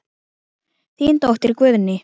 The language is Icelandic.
Þín dóttir, Guðný.